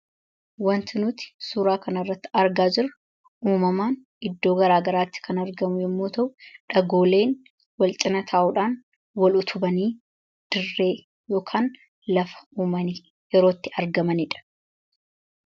wanti nuti suuraa kana irratti argaa jiru uumamaan iddoo garaa garaatti kan argamu yommoo ta'u dhagooleen wal cina taa'uudhaan wal utubanii dirree yookaan lafa uumamanitti yerootti argamaniidha.